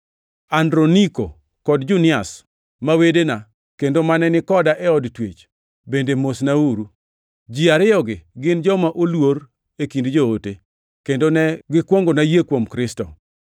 Androniko kod Junias, ma wedena, kendo mane ni koda e od twech, bende mosnauru. Ji ariyogi gin joma oluor e kind Joote, kendo ne gikwongona yie kuom Kristo.